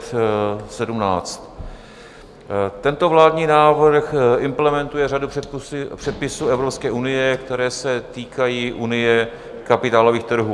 Tento vládní návrh implementuje řadu předpisů Evropské unie, které se týkají unie kapitálových trhů.